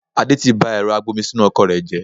Adé tí bá ẹ̀rọ agbomisinu ọkọ̀ rẹ jẹ